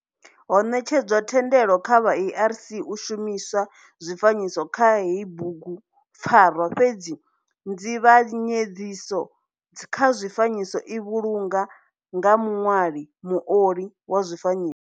Ho netshedzwa thendelo kha vha ARC u shumiswa zwifanyiso kha heyi bugu pfarwa fhedzi nzivhanyedziso kha zwifanyiso i vhulungwa nga muṋwali, muoli wa zwifanyiso.